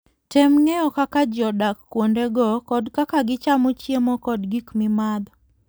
Tem ng'eyo kaka ji odak kuondego kod kaka gichamo chiemo kod gik mimadho.